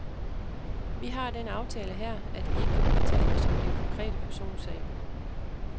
Vi har den aftale her, at vi ikke kan udtale os om den konkrete personsag.